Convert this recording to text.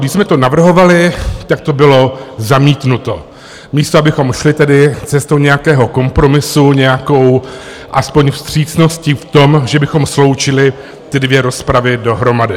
Když jsme to navrhovali, tak to bylo zamítnuto, místo abychom šli tedy cestou nějakého kompromisu, nějakou aspoň vstřícností v tom, že bychom sloučili ty dvě rozpravy dohromady.